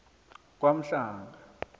kwamhlanga